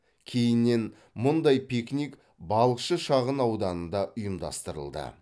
кейіннен мұндай пикник балықшы шағын ауданында ұйымдастырылды